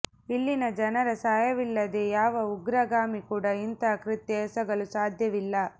ಇಲ್ಲಿನ ಜನರ ಸಹಾಯವಿಲ್ಲದೆ ಯಾವ ಉಗ್ರಗಾಮಿ ಕೂಡ ಇಂತಹ ಕೃತ್ಯ ಎಸಗಲು ಸಾಧ್ಯವಿಲ್ಲ